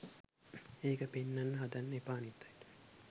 ඒක පෙන්නන්න හදන්න එපා අනිත් අයට.